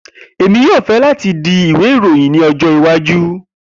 Emi yoo fẹ lati di Iwe iroyin ni ọjọ iwaju.